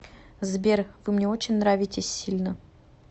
сбер вы мне очень нравитесь сильно